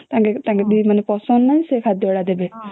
ତାଙ୍କେ ପସନ୍ଦ ନା ସେ ଖାଦ୍ୟ ଗୁଡା ଦେବେ